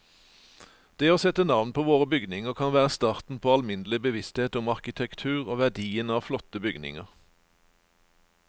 Det å sette navn på våre bygninger kan være starten på alminnelig bevissthet om arkitektur og verdien av flotte bygninger.